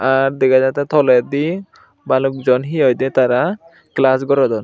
ar degajattey toledi balokjon he hoidey tara class gorodon.